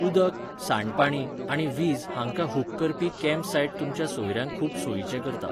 उदक, सांडपाणी आनी वीज हांकां hook करपी campsite तुमच्या सोयऱ्यांक खूब सोयीचें करता.